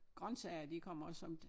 Grøntsager de kommer også som